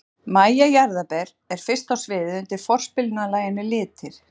MÆJA JARÐARBER er fyrst á sviðið undir forspilinu að laginu Litir.